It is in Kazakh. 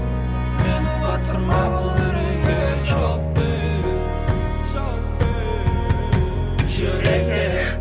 мені батырма бұл үрейге жауап бер жауап бер жүрекке